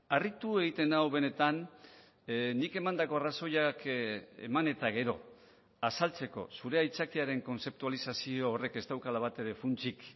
harritu egiten nau benetan nik emandako arrazoiak eman eta gero azaltzeko zure aitzakiaren kontzeptualizazio horrek ez daukala batere funtsik